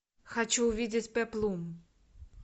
хочу увидеть пеплум